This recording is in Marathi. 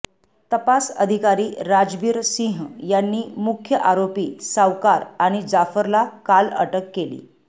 तपास अधिकारी राजबीर सिंह यांनी मुख्य आरोपी सावकार आणि जाफरला काल अटक केली